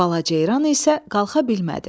Balaca ceyran isə qalxa bilmədi.